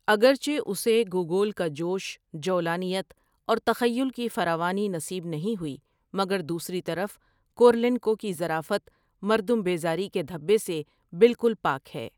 اگرچہ اسے گوگول کا جوش، جولانیت اور تخیل کی فراوانی نصیب نہیں ہوئی مگر دوسری طرف کورولینکو کی ظرافت مردم بیزاری کے دھبے سے بالکل پاک ہے۔